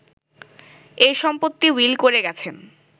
এ সম্পত্তি উইল করে গেছেন